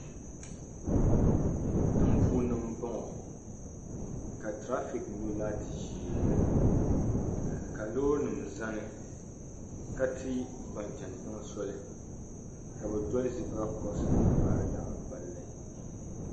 Tiŋ puuni n bɔŋɔ ka trafik nyɔ laati ʒɛɛ, ka lɔɔri nim zani. ka ti ban chan tiŋ soli ka bɛ doli zibira curose n baari garita,